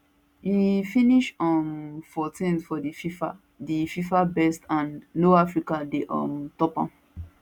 e finish um 14th for di fifa di fifa best and no african dey um ontop am